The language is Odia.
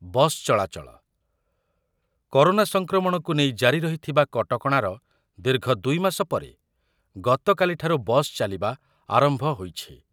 ବସ୍ ଚଳାଚଳ, କରୋନା ସଂକ୍ରମଣକୁ ନେଇ ଜାରି ରହିଥିବା କଟକଣାର ଦୀର୍ଘ ଦୁଇମାସ ପରେ ଗତକାଲିଠାରୁ ବସ୍ ଚାଲିବା ଆରମ୍ଭ ହୋଇଛି ।